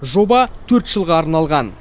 жоба төрт жылға арналған